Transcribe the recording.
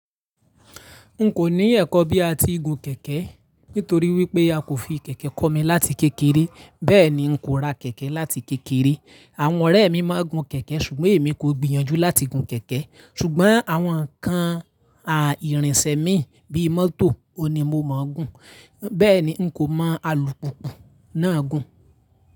N kò ní ẹ̀kọ́ bí a ti gun kẹ̀kẹ́ nítorí wípé a kò fi kẹ̀kẹ́ kọ́ mi láti kékeré. Bẹ́ẹ̀ ni, n kò ra kẹ̀kẹ́ láti kékeré. Àwọn ọ̀rẹ́ mi máa ń gun kẹ̀kẹ́ ṣùgbọ́n èmi kò gbìyànjú láti gun kẹ̀kẹ́. Ṣùgbọ́n àwọn ǹkan à irìnsẹ̀ min bí i mọ́tò ohun ni mo mọ̀o gùn. Bẹ́ẹ̀ ni, n kò mọ alùpùpù náà gùn.